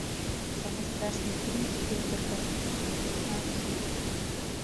самый страшный фильм спилберга найти